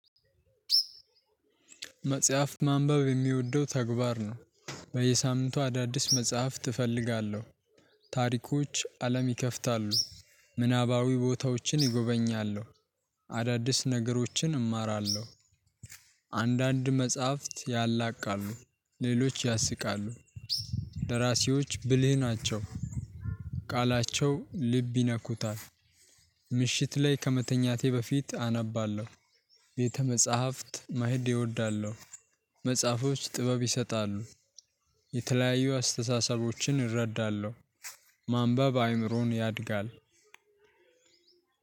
መጽሐፍ ማንበብ የሚወደው ተግባር ነው። በየሳምንቱ አዳዲስ መጽሐፍት እፈልጋለሁ። ታሪኮች አለም ይከፍታሉ። ምናባዊ ቦታዎችን እጎበኛሉ። አዳዲስ ነገሮችን እማራለሁ። አንዳንድ መጽሐፍት ያላቃሉ ሌሎች ያስቃሉ። ደራሲዎች ብልህ ናቸው። ቃላቸው ልብ ይነኩታል። ምሽት ላይ ከመተኛቴ በፊት አነባለሁ። ቤተ መጽሐፍት መሄድ እወዳለሁ። መጽሐፎች ጥበብ ይሰጣሉ። የተለያዩ አስተሳሰቦችን እረዳለሁ። ማንበብ አይምሮን ያሳድጋል